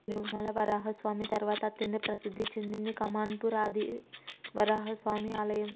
తిరుమల వరాహస్వామి తర్వాత అంత ప్రసిద్ధి చెందింది కమాన్ పూర్ ఆదివరాహస్వామి ఆలయం